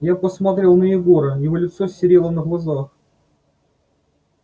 я посмотрел на егора его лицо серело на глазах